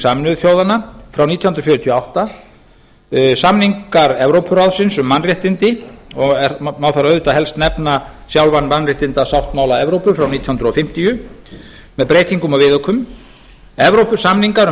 sameinuðu þjóðanna frá nítján hundruð fjörutíu og átta samningar evrópuráðsins um mannréttindi og má þar auðvitað helst nefna sjálfan mannréttindasáttmála evrópu frá nítján hundruð fimmtíu með breytingum og viðaukum evrópusamning um